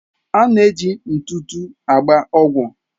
A na-eji ntụtụ agba ọgwụ.